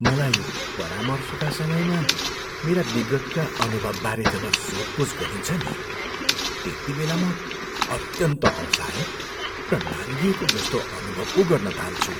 मलाई परामर्शका समयमा मेरा विगतका अनुभवबारे जब सोधपुछ गरिन्छ नि, त्यतिबेला म अत्यन्त असहाय र नाङ्गिएको जस्तो अनुभव पो गर्न थाल्छु।